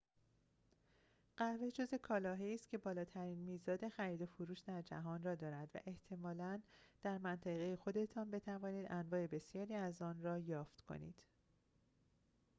قهوه جزء کالاهایی است که بالاترین میزان خریدوفروش در جهان را دارد و احتمالاً در منطقه خودتان بتوانید انواع بسیاری از آن را یافت کنید